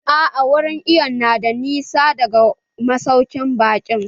A'a wurin iwon na da ɗan nisa daga masaukin baƙin.